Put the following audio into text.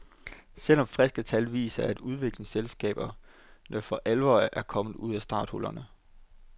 Selvom friske tal viser at udviklingsselskaberne for alvor er kommet ud af starthullerne.